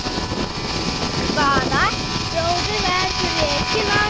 Hvaða stjóri verður rekinn næst?